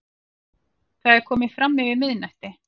Það er komið framyfir miðnætti.